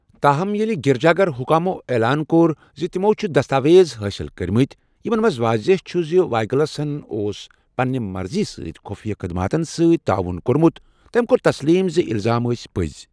تاہم، ییٚلہِ گرجا گر حکامو اعلان کوٚر زِ تِمَو چھِ دستاویز حٲصِل کٔرۍمٕتۍ، یمن منٛز واضح چھُ زِ وایلگس ہن اوس پنٛنہِ مرضی سۭتۍ خفیہ خدماتَن سۭتۍ تعاون کوٚرمُت، تٔمۍ کوٚر تسلیٖم زِ الزام ٲسۍ پٔزۍ۔